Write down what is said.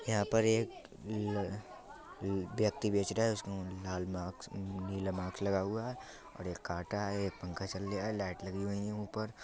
यहां पर एक ल -- व्यक्ति बेच रहा है। उसके लाल मास्क नीला मास्क लगा हुआ है और एक कांटा है। एक पंखा चल रिया है लाइट लगी हुईं है ऊपर|